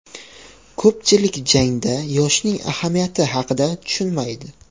Ko‘pchilik jangda yoshning ahamiyati haqida tushunmaydi.